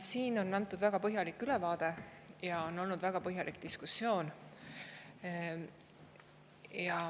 Siin on antud väga põhjalik ülevaade ja on olnud väga põhjalik diskussioon.